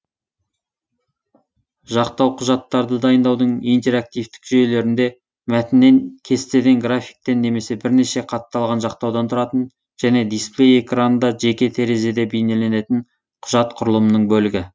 жақтау құжаттарды дайындаудың интерактивтік жүйелерінде мәтіннен кестеден графиктен немесе бірнеше қатталған жақтаудан тұратын және дисплей экранында жеке терезеде бейнеленетін құжат құрылымының бөлігі